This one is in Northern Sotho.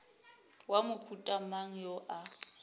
wa mohuta mang yo a